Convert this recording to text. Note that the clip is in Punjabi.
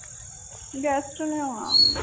guest ਨੇ ਆਉਣਾ